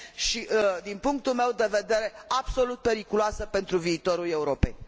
și, din punctul meu de vedere, absolut periculoasă pentru viitorul Europei.